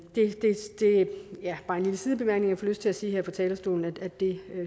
lille sidebemærkning fik lyst til at sige her fra talerstolen nemlig at det